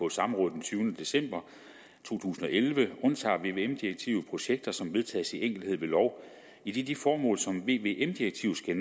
et samråd den tyvende december to tusind og elleve undtager vvm direktivet projekter som vedtages i enkelthed ved lov idet de formål som vvm direktivet skal